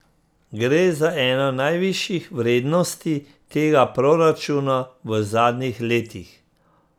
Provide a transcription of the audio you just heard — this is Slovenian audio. Gre za eno najvišjih vrednosti tega proračuna v zadnjih letih.